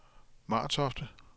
Martofte